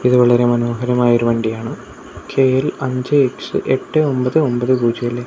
ഇത് വളരെ മനോഹരമായൊരു വണ്ടിയാണ് കെ_എൽ അഞ്ച് എക്സ് എട്ട് ഒമ്പത് ഒമ്പത് പൂജ്യം അല്ലെ--